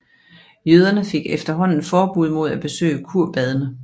Jøderne fik efterhånden forbud mod at besøge kurbadene